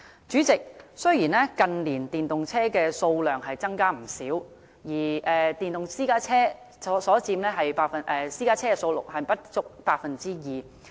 主席，雖然近年電動車的數量增加不少，但電動私家車佔私家車數量仍不足 2%。